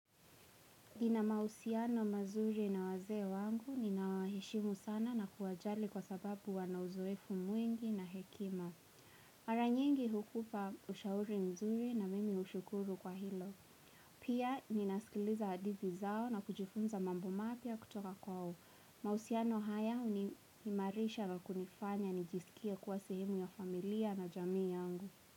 Nina mahusiano mazuri na wazee wangu, nina waheshimu sana na kuwajali kwa sababu wana uzoefu mwengi na hekima. Mara nyingi hukupa ushauri mzuri na mimi ushukuru kwa hilo. Pia, nina sikiliza hadithi zao na kujifunza mambo mapia kutoka kwao. Mahusiano haya huni imarisha na kunifanya nijisikie kuwa sehemu ya familia na jamii yangu.